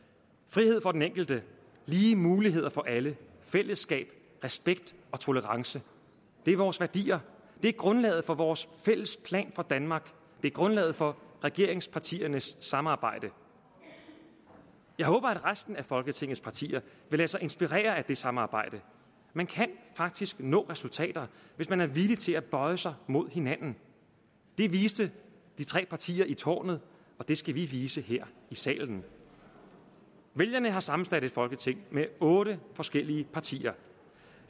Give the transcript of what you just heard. frihed for den enkelte lige muligheder for alle fællesskab respekt og tolerance det er vores værdier det er grundlaget for vores fælles plan for danmark det er grundlaget for regeringspartiernes samarbejde jeg håber at resten af folketingets partier vil lade sig inspirere af det samarbejde man kan faktisk nå resultater hvis man er villig til at bøje sig mod hinanden det viste de tre partier i tårnet og det skal vi vise her i salen vælgerne har sammensat et folketing med otte forskellige partier